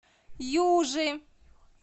южи